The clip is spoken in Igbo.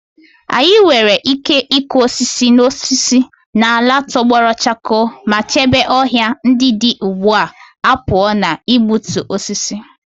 Anyị nwere ike ịkụ osisi na osisi n'ala tọgbọrọ chakoo ma chebe ọhịa ndị dị ugbu a pụọ ​​na igbutu osisi.